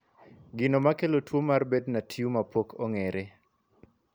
Gino makelo tuo mar Bednar tumor pok ong'ere.